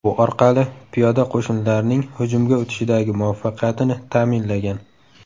Bu orqali piyoda qo‘shinlarning hujumga o‘tishidagi muvaffaqiyatini ta’minlagan.